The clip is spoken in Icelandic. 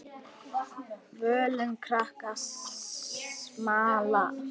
Völum krakkar smala.